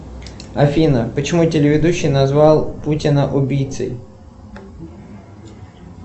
афина почему телеведущий назвал путина убийцей